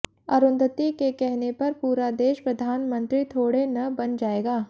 अरुंधति के कहने पर पूरा देश प्रधानमंत्री थोड़े न बन जाएगा